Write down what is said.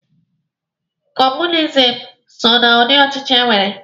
Kọọmunizim so na ụdị ochichi enwere.